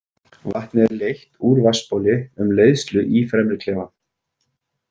Vatnið er leitt úr vatnsbóli um leiðslu í fremri klefann.